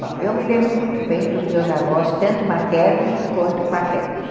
Bom, eu me lembro muito bem dos meus avós, tanto maternos quanto paternos.